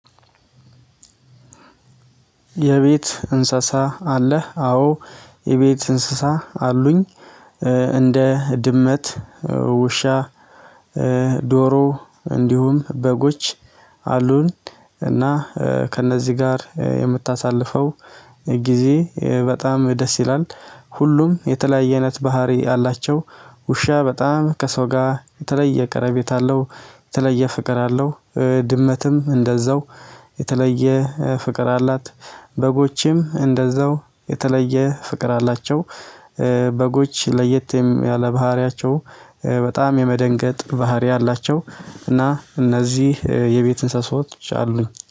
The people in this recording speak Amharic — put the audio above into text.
የቤት እንሰሳ አለህ? አዎ የቤት እንስሳ አሉኝ። እንደ ድመት ውሻ ዶሮ እንዲሁም በጎች አሉን። እና ከእነዚህ ጋር የምታሳልፈው ጊዜ በጣም ደስ ይላል። ሁሉም የተለያየ አይነት ባህሪ አላቸው። ውሻ በጣም ከሰው ጋ የተለየ ቀረቤታ አለው የተለየ ፍቅር አለው። ድመትም እንደዛው የተለየ ፍቅር አላት። በጎችም እንደዛው የተለየ ፍቅር አላቸው። በጎች ለየት ያለ ባህሪያቸው በጣም የመደንገጥ ባህሪ አላቸው። እና እነዚህ የቤት እንስሳዎች አሉኝ